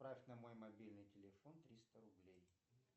отправь на мой мобильный телефон триста рублей